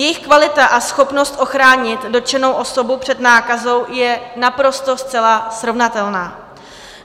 Jejich kvalita a schopnost ochránit dotčenou osobu před nákazou je naprosto zcela srovnatelná.